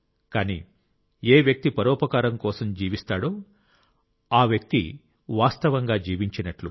కానీ ఏ వ్యక్తి పరోపకారం కోసం జీవిస్తాడో ఆ వ్యక్తీ ఎప్పటికి జీవిస్తాడు